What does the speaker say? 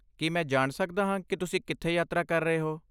ਕੀ ਮੈਂ ਜਾਣ ਸਕਦਾ ਹਾਂ ਕਿ ਤੁਸੀਂ ਕਿੱਥੇ ਯਾਤਰਾ ਕਰ ਰਹੇ ਹੋ?